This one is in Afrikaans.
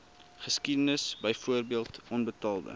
geskiedenis byvoorbeeld onbetaalde